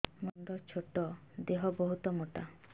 ମୋର ମୁଣ୍ଡ ଛୋଟ ଦେହ ବହୁତ ମୋଟା